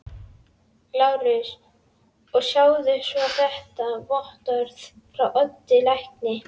LÁRUS: Og sjáið svo þetta vottorð frá Oddi lækni.